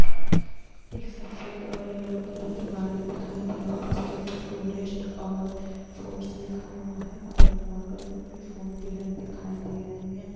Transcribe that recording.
एक सफ़ेद और येलो कलर की गाड़ी दिखाई दे रही है है उसके ऊपर टूरिस्ट और फ़ोर्स लिखा हुआ है अगल बगल भी फोर व्हीलर दिखाई दे रही है।